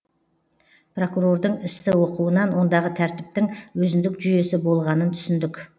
прокурордың істі оқуынан ондағы тәртіптің өзіндік жүйесі болғанын түсіндік